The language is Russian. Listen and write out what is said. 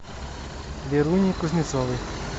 веруней кузнецовой